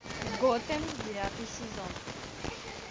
готэм девятый сезон